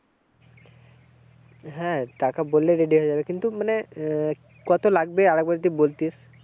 হ্যাঁ টাকা বললেই ready হয়ে যাবে কিন্তু মানে আহ কত লাগবে আর একবার যদি বলতিস।